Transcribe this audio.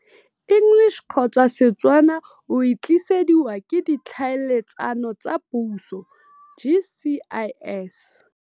English-Setswana O e tlisediwa ke Ditlhaeletsano tsa Puso, GCIS..